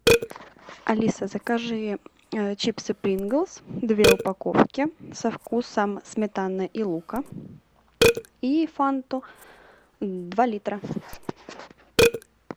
алиса закажи чипсы принглс две упаковки со вкусом сметаны и лука и фанту два литра